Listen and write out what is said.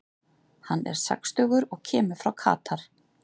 Hann er sextugur og kemur frá Katar.